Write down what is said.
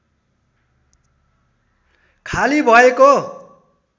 खाली भएको